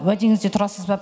уәдеңізде тұрасыз ба